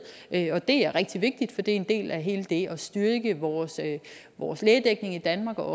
og det er rigtig vigtigt for det er en del af hele det at styrke vores vores lægedækning i danmark og